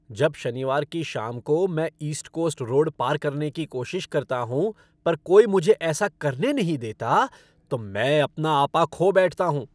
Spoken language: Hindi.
जब शनिवार की शाम को मैं ईस्ट कोस्ट रोड पार करने की कोशिश करता हूँ पर कोई मुझे ऐसा करने नहीं देता, तो मैं अपना आपा खो बैठता हूँ।